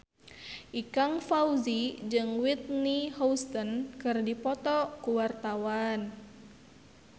Ikang Fawzi jeung Whitney Houston keur dipoto ku wartawan